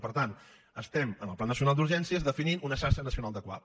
i per tant estem amb el pla nacional d’urgències definint una xarxa nacional de cuap